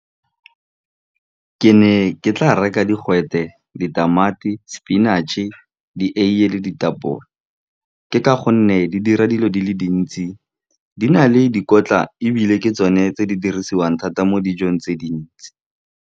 Ke ne ke tla reka digwete, ditamati, sepinactšhe, dieiye le ditapole, ke ka gonne di dira dilo di le dintsi, di na le dikotla, ebile ke tsone tse di dirisiwang thata mo dijong tse dintsi.